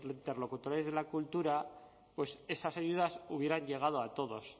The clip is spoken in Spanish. interlocutores de la cultura pues esas ayudas hubieran llegado a todos